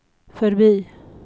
förbi